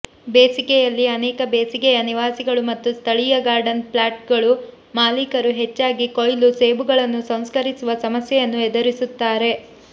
ಬೇಸಿಗೆಯಲ್ಲಿ ಅನೇಕ ಬೇಸಿಗೆಯ ನಿವಾಸಿಗಳು ಮತ್ತು ಸ್ಥಳೀಯ ಗಾರ್ಡನ್ ಪ್ಲಾಟ್ಗಳು ಮಾಲೀಕರು ಹೆಚ್ಚಾಗಿ ಕೊಯ್ಲು ಸೇಬುಗಳನ್ನು ಸಂಸ್ಕರಿಸುವ ಸಮಸ್ಯೆಯನ್ನು ಎದುರಿಸುತ್ತಾರೆ